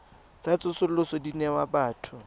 tsa tsosoloso di newa batho